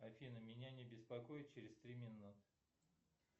афина меня не беспокоить через три минуты